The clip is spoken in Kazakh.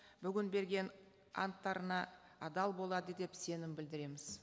бүгін берген анттарына адал болады деп сенім білдіреміз